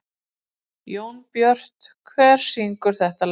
Jónbjört, hver syngur þetta lag?